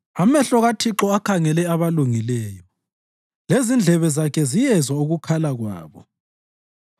Amehlo kaThixo akhangele abalungileyo lezindlebe zakhe ziyezwa ukukhala kwabo;